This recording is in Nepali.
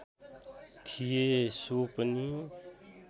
थिए सो पनि